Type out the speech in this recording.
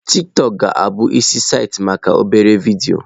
TikiTokụ ga-abụ isi saịtị maka obere vidio.